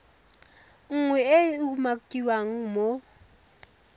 nngwe e e umakiwang mo